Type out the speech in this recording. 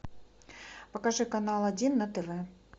покажи канал один на тв